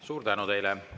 Suur tänu teile!